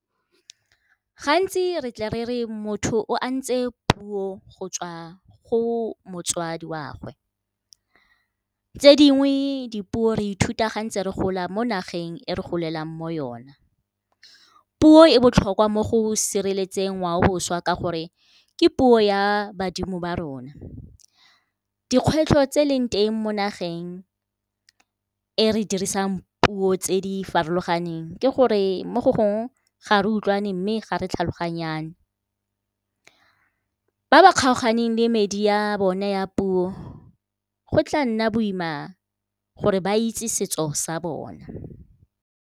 Gantsi re tle re re, motho o a ntse puo go tswa go motswadi wa gwe. Tse dingwe dipuo re ithuta ga re ntse re gola mo nageng e re golelang mo yona. Puo e botlhokwa mo go sireletseng ngwaoboswa ka gore ke puo ya badimo ba rona. Dikgwetlho tse leng teng mo nageng e re dirisang puo tse di farologaneng, ke gore mo go gongwe ga re utlwane mme ga re tlhaloganyane. Ba ba kgaoganeng le medi ya bone ya puo go tla nna boima gore ba itse setso sa bona.